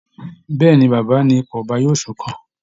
Bẹ́ẹ̀ ni, baba ni ipò ọba yóò sún kàn